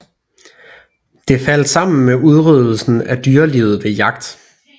Det faldt sammen med udryddelse af dyrelivet ved jagt